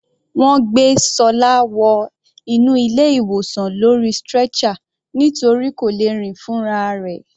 Wọ́n gbé Ṣọlá wọ inú ilé ìwòsan lórí stretcher nítorí kò lè rìn fúnra rẹ̀.